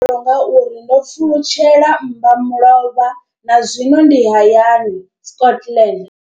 Ngauri nga uri ndo pfulutshela mmba mulovha na zwino ndi hayani, Scotland.